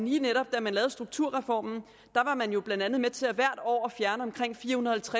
lige netop da man lavede strukturreformen var man blandt andet med til hvert år at fjerne omkring fire hundrede og